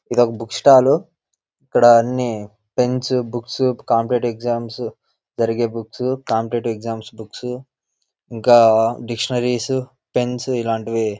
ఇది ఒక book stall ఇక్కడ అన్ని పెన్స్ బుక్స్ కాంపిటేటివ్ ఎగ్జామ్స్ జరిగే బుక్స్ కాంపిటేటివ్ ఎగ్జామ్స్ బుక్స్ ఇంకా డిక్షనరీ పెన్స్ ఇలాంటివి --